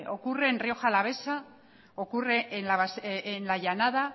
ocurren en rioja alavesa ocurre en la llanada